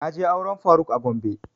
Na je auren faruk a gombe